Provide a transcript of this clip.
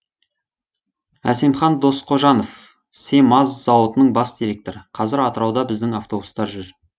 әсемхан досқожанов семаз зауытының бас директоры қазір атырауда біздің автобустар жүр